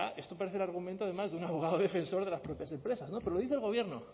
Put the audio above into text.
esto parece el argumento de más de un abogado defensor de las propias empresas pero lo dice el gobierno